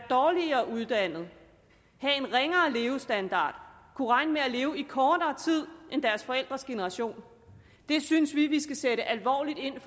dårligere uddannet få en ringere levestandard og kunne regne med at leve i kortere tid end deres forældres generation det synes vi at vi skal sætte alvorligt ind